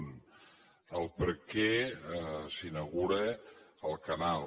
un per què s’inaugura el canal